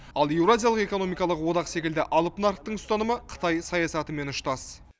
ал еуразиялық экономикалық одақ секілді алып нарықтың ұстанымы қытай саясатымен ұштас